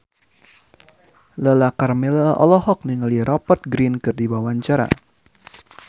Lala Karmela olohok ningali Rupert Grin keur diwawancara